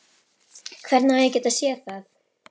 Hvernig á ég að geta séð það?